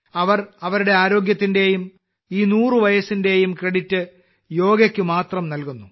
അവർ അവരുടെ ആരോഗ്യത്തിന്റെയും ഈ 100 വയസ്സിന്റെയും ക്രെഡിറ്റ് യോഗയ്ക്ക് മാത്രം നൽകുന്നു